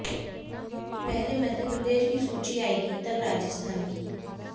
पहले मध्य प्रदेश की सूची आएगी तब राजस्थान की